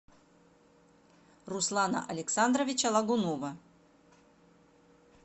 руслана александровича лагунова